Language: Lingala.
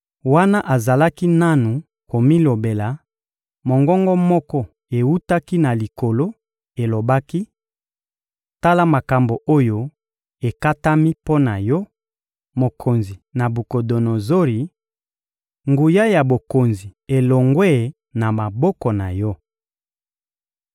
Wana azalaki nanu komilobela, mongongo moko ewutaki na likolo, elobaki: — Tala makambo oyo ekatami mpo na yo, mokonzi Nabukodonozori: «Nguya ya bokonzi elongwe na maboko na yo.